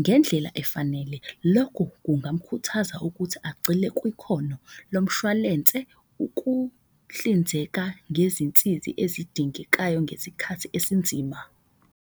ngendlela efanele. Lokho kungamukhuthaza ukuthi agcile kukhono lo mshwalense. Ukuhlinzeka ngezinsizi ezidingekayo ngezikhathi esinzima.